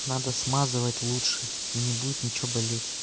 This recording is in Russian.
надо смазывать лучше и не будет ничего болеть